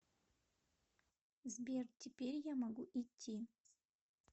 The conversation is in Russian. сбер теперь я могу идти